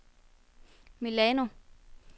Milano